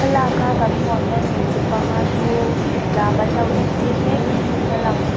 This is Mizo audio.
thlalaka kan hmuh ang hian hmeichhe panga chu lam an lo entir mek ni in a lang.